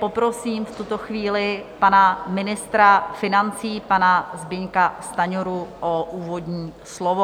Poprosím v tuto chvíli pana ministra financí, pana Zbyňka Stanjuru, o úvodní slovo.